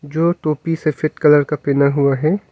जो टोपी सफेद कलर का पहना हुआ है।